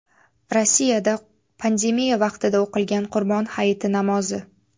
Rossiyada pandemiya vaqtida o‘qilgan Qurbon hayiti namozi.